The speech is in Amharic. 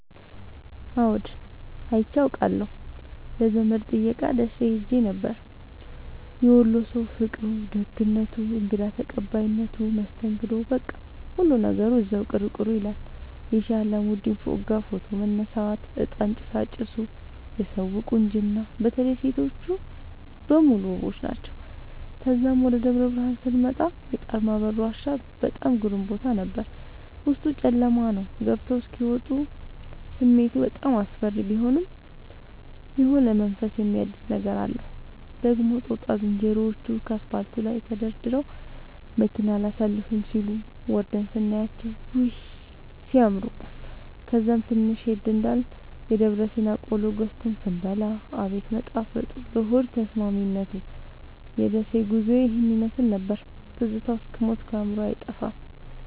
አዎድ አይቼ አቃለሁ ለዘመድ ጥየቃ ደሴ ኸሄ ነበር። የወሎ ሠዉ ፍቅሩ፣ ደግነቱ፣ እንግዳ ተቀባይነቱ መስተንግዶዉ በቃ ሁሉ ነገሩ እዚያዉ ቅሩ ቅሩ ይላል። የሼህ አላሙዲን ፎቅጋ ፎቶ መነሳት፤ እጣን ጭሣጭሡ የሠዉ ቁንጅና በተለይ ሤቶቹ በሙሉ ዉቦች ናቸዉ። ተዛም ወደ ደብረብርሀን ስመጣ የጣርማበር ዋሻ በጣም ግሩም ቦታ ነበር፤ ዉስጡ ጨለማ ነዉ ገብተዉ እስኪ ወጡ ስሜቱ በጣም አስፈሪ ቢሆንም የሆነ መንፈስን የሚያድስ ነገር አለዉ። ደግሞ ጦጣ ዝንሮዎቹ ከአስፓልቱ ላይ ተደርድረዉ መኪና አላሣልፍም ሢሉ፤ ወርደን ስናያቸዉ ዉይ! ሢያምሩ። ከዛም ትንሽ ሄድ እንዳልን የደብረሲና ቆሎ ገዝተን ስንበላ አቤት መጣፈጡ ለሆድ ተስማሚነቱ። የደሴ ጉዞዬ ይህን ይመሥል ነበር። ትዝታዉ እስክ ሞት ከአዕምሮየ አይጠፋም።